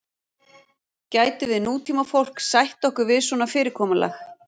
Gætum við nútímafólk sætt okkur við svona fyrirkomulag?